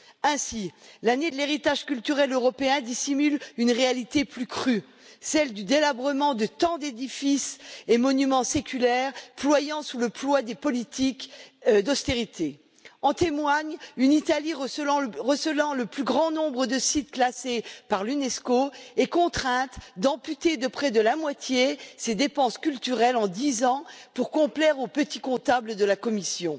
Ainsi, l'année de l'héritage culturel européen dissimule une réalité plus crue, celle du délabrement de tant d'édifices et monuments séculaires ployant sous le poids des politiques d'austérité, comme en témoigne une Italie recelant le plus grand nombre de sites classés par l'Unesco et contrainte d'amputer de près de moitié ses dépenses culturelles en dix ans pour complaire aux petits comptables de la Commission.